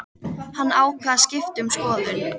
Hann ákvað að skipta um skoðun.